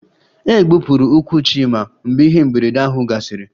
E gbupụrụ ụkwụ Chima mgbe ihe mberede ahụ gasịrị